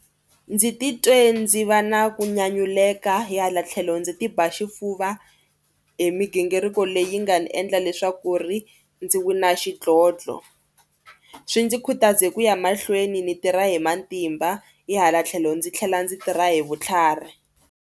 Ndzi titwe ndzi va na ku nyanyuleka hi hala tlhelo ndzi ti ba xifuva hi migingiriko leyi nga ni endla leswaku ri ndzi wina xidlodlo. Swi ndzi khutaze ku ya mahlweni ni tirha hi matimba hi hala tlhelo ndzi tlhela ndzi tirha hi vutlhari.